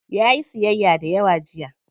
Yayi siyyaya dayawa jiya.